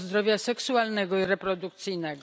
zdrowia seksualnego i reprodukcyjnego.